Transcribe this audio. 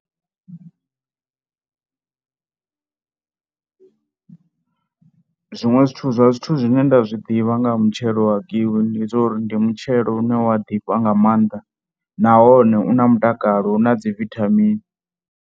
Zwiṅwe zwithu zwa zwithu zwine nda zwi ḓivha nga ha matshelo wa kiwi ndi zwa uri ndi mutshelo une wa ḓifha nga maanḓa nahone u na mutakalo na dzi vithamini.